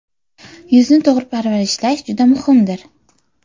Yuzni to‘g‘ri parvarishlash juda muhimdir.